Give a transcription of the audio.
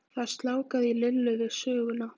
Það sljákkaði í Lillu við söguna.